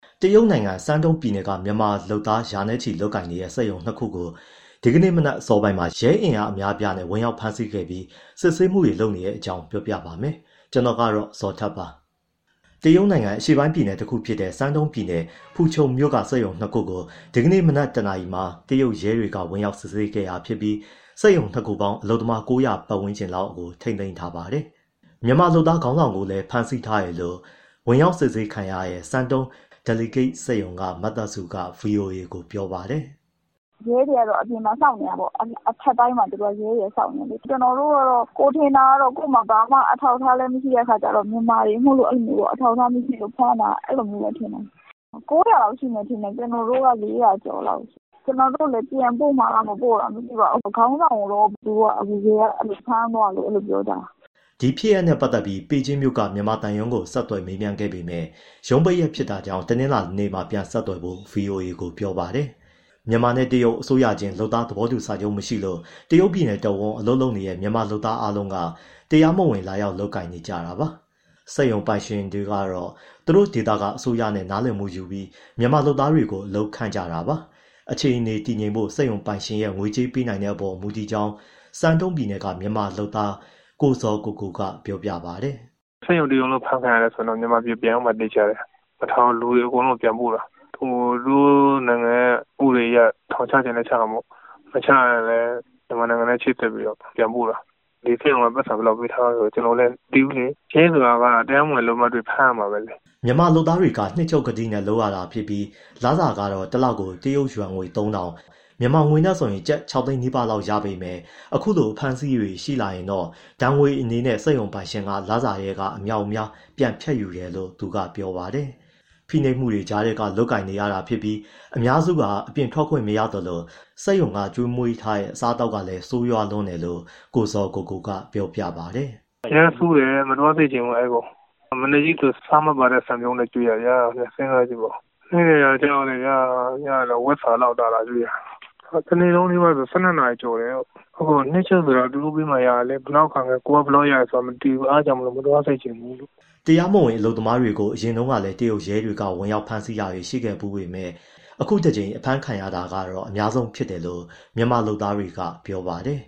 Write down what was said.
တရုတ်နိုင်ငံ Shandong ပြည်နယ်က မြန်မာလုပ်သားရာချီ လုပ်ကိုင်နေတဲ့ စက်ရုံ ၂ ခုကို ဒီကနေ့မနက် အစောပိုင်းမှာ ရဲအင်အား အများအပြားနဲ့ ဝင်ရောက်ဖမ်းဆီးခဲ့ပြီး စစ်ဆေးမှုတွေ လုပ်နေပါတယ်။ အပြည့်အစုံကို ကိုဇော်ထက် တင်ပြပေးထားပါတယ်။ တရုတ်နိုင်ငံ အရှေ့ပိုင်းပြည်နယ်တခုဖြစ်တဲ့ Shandong ပြည်နယ်၊ ဖူချုံမြို့က စက်ရုံ ၂ ခုကို ဒီကနေ့မနက် ၁ နာရီမှာ တရုတ်ရဲတွေက ဝင်ရောက်စစ်ဆေးခဲ့တာ ဖြစ်ပြီး စက်ရုံ ၂ ခုပေါင်း အလုပ်သမား ၉၀၀ ပတ်ဝန်းကျင်လောက်ကို ထိန်းသိမ်းထားပါတယ်။ မြန်မာအလုပ်သမား ခေါင်းဆောင်ကိုလည်း ဖမ်းဆီးထားတယ်လို့ ဝင်ရောက်စစ်ဆေးခံရတဲ့ Shandong Delicate စက်ရုံက မသက်စုက ဗွီအိုအေကို ပြောပါတယ်။ “ရဲတွေကတော့ အပြင်မှာ စောင့်နေတာပေါ့။ အထပ်တိုင်းမှာ ရဲတွေက စောင့်နေတာ။ ကျနော်တို့ကတော့ ကိုယ်ထင်တာ ကိုယ့်မှာ ဘာမှ အထောက်အထားလည်း မရှိတဲ့အခါကျတော့ မြန်မာတွေမို့လို့ အဲလိုမျိုး အထောက်အထား မရှိလို့ ဖမ်းတာလို့ထင်တယ်။ နှစ်ရုံပေါင်း ၉၀၀ လောက်ရှိမယ်၊ ကျနော်တို့က ၄၀၀ ကျော်လောက်။ ပြန်ပို့မှာလား မပို့မှာလား မသိပါဘူး။ ခေါင်းဆောင်ကိုတော့ သူတို့က ရဲက ဖမ်းသွားတယ်လို့ ပြောကြတယ်။” ဒီဖြစ်ရပ်နဲ့ပတ်သက်ပြီး ဘေဂျင်းမြို့က မြန်မာသံရုံးကို ဆက်သွယ်မေးမြန်းခဲ့ပေမယ့် ရုံးပိတ်ရက်ဖြစ်တာကြောင့် တနင်္လာနေ့မှ ပြန်ဆက်သွယ်ဖို့ ဗွီအိုအေကို ပြောပါတယ်။ မြန်မာနဲ့ တရုတ် အစိုးရချင်း လုပ်သားသဘောတူစာချုပ် မရှိလို့ တရုတ်ပြည်နယ်တဝန်း အလုပ်လုပ်နေတဲ့ မြန်မာလုပ်သားအားလုံးက တရားမဝင် လာရောက် လုပ်ကိုင်နေကြတာပါ။ စက်ရုံပိုင်ရှင်တွေကတော့ သူတို့ဒေသ အစိုးရနဲ့ နားလည်မှုယူပြီး မြန်မာလုပ်သားတွေကို အလုပ်ခန့်ကြတာပါ။ အခြေအနေ တည်ငြိမ်ဖို့ စက်ရုံပိုင်ရှင်ရဲ့ ငွေကြေးပေးနိုင်တဲ့အပေါ် မူတည်ကြောင်း Shandong ပြည်နယ်က မြန်မာအလုပ်သမား ကိုဇော်ကိုကိုက ပြောပါတယ်။ “စက်ရုံတရုံလုံး အဖမ်းခံရတယ်ဆိုရင်တော့ မြန်မာပြည် ပြန်ရောက်မှာ သေချာတယ်၊ မထားဘူး၊ လူတွေအကုန်လုံးကို ပြန်ပို့တာ။ သူတို့နိုင်ငံရဲ့ ဥပဒေအရ ထောင်ချချင်လည်း ချတာပေါ့။ မချရင်လည်း မြန်မာနိုင်ငံနဲ့ ချိတ်ဆက်ပြီး ပြန်ပို့တာ။ ဒီစက်ရုံက ပိုက်ဆံဘယ်လောက်ပေးထားတယ်၊ ကျနော်လည်း မသိဘူးလေ။ ရဲဆိုတာ တရားမဝင် အလုပ်သမားတွေ့ ဖမ်းရတာပဲလေ။” မြန်မာလုပ်သားတွေက နှစ်ချုပ်ကတိနဲ့ လုပ်ရတာဖြစ်ပြီး လစာကတော့ တလကို တရုတ်ယွမ်ငွေ ၃,၀၀၀၊ မြန်မာငွေနဲ့ဆို ကျပ် ၆ သိန်းနီးပါးလောက်ပဲ ရပေမယ့် အခုလို အဖမ်းအဆီးတွေ ရှိလာရင် ဒဏ်ငွေအနေနဲ့ စက်ရုံပိုင်ရှင်က လစာထဲက အမြောက်အမြား ပြန်ဖြတ်ယူတယ်လို့ သူက ဆက်ပြောပါတယ်။ ဖိနှိပ်မှုတွေကြားထဲက လုပ်ကိုင်နေရတာဖြစ်ပြီး အများစုဟာ အပြင်ထွက်ခွင့် မရသလို စက်ရုံကကျွေးမွေးတဲ့ အစားအသောက်ကလည်း ဆိုးရွားလွန်းတယ်လို့ ကိုဇော်ကိုကိုက ပြောပါတယ်။ “အရမ်းဆိုးတယ်၊ မသွားစေချင်ဘူး အဲဒီကို။ မနက်ဆို ဆားမပါတဲ့ ဆန်ပြုတ်နဲ့ ကျွေးတာဗျာ စဉ်းစားကြည့်ပါဦး၊ ဟင်းတွေကလည်း ဝက်စာလောက်သာသာ ကျွေးတာ။ တနေ့လုံးနီးပါးဆို လုပ်ရတာ ၁၂ နာရီကျော်တယ်။ နှစ်ချုပ်ဆိုတာ သူတို့ပေးမှ ရတာလေ၊ ဘယ်လောက်ရတယ်ဆိုတာ မသိဘူး။ အဲဒါကြောင့်မို့ မသွားစေချင်ဘူး။” တရားမဝင် အလုပ်သမားတွေကို အရင်တုန်းကလည်း တရုတ်ရဲတပ်ဖွဲ့က ဝင်ဖမ်းတာတွေ ရှိခဲ့ဖူးပေမယ့် အခုတကြိမ် အဖမ်းခံရတာ အများဆုံးဖြစ်တယ်လို့ မြန်မာလုပ်သားတွေက ပြောပါတယ်